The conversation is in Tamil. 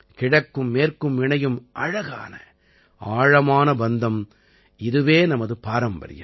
கிழக்கும் மேற்கும் இணையும் அழகான ஆழமான பந்தம் இதுவே நமது பாரம்பரியம்